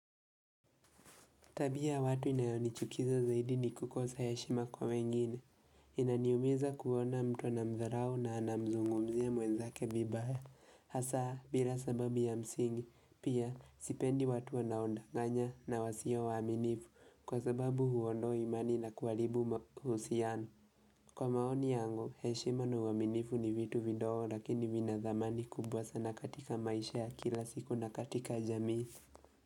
Tabia watu inayoni chukiza zaidi ni kukosa heshima kwa wengine. Inaniumiza kuona mtu na mzdharau na anamzungumzia mwezake vibaya. Hasa, bila sababu ya msingi, pia sipendi watu wanao ninadanganya na wasio waaminifu kwa sababu huondoa imani na kuharibu mahusiano. Kwa maoni yangu, heshima na uaminifu ni vitu vidogo lakini vina thamani kubwa sana katika maisha ya kila siku na katika jamii.